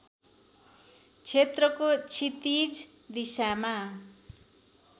क्षेत्रको क्षितिज दिशामा